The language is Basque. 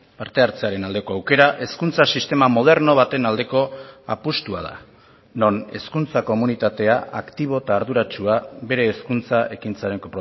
parte hartzearen aldeko aukera hezkuntza sistema moderno baten aldeko apustua da non hezkuntza komunitatea aktibo eta arduratsua bere hezkuntza ekintzaren